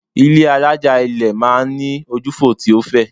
Ilé́ alájà-ilẹ̀ máa ń ní ojúfò tí ó fẹ̀.